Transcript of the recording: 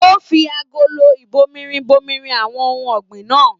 O fí agolo ibòmírin bomirin àwọn ohùn ọ̀gbìn náà.